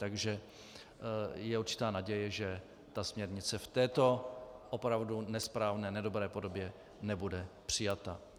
Takže je určitá naděje, že ta směrnice v této opravdu nesprávné, nedobré podobě nebude přijata.